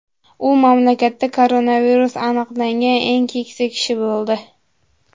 U mamlakatda koronavirus aniqlangan eng keksa kishi bo‘ldi.